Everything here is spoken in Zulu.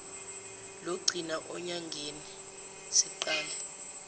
logcina enyangeni siqale